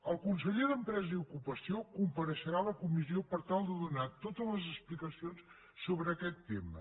el conseller d’empresa i ocupació compareixerà a la comissió per tal de donar totes les explicacions sobre aquest tema